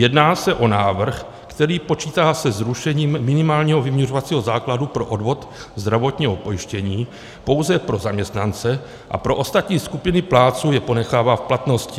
Jedná se o návrh, který počítá se zrušením minimálního vyměřovacího základu pro odvod zdravotního pojištění pouze pro zaměstnance a pro ostatní skupiny plátců je ponechává v platnosti.